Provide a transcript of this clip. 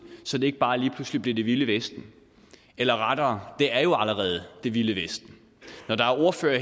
så det ikke bare lige pludselig bliver det vilde vesten eller rettere det er jo allerede det vilde vesten når der er ordførere